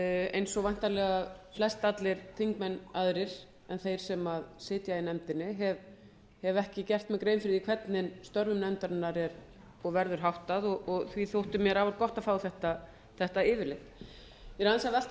eins og væntanlega flest allir þingmenn aðrir en þeir sem sitja í nefndinni hef ekki gert mér grein fyrir því hvernig störfum nefndarinnar er og verður háttað og því þótti mér afar gott að fá þetta yfirlit ég er aðeins að velta